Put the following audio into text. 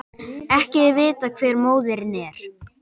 Ekki er vitað hver móðirin er